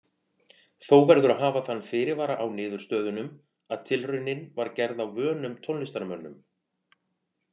Þó verður að hafa þann fyrirvara á niðurstöðunum að tilraunin var gerð á vönum tónlistarmönnum.